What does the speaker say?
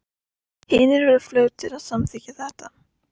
Hinar voru fljótar að samþykkja það.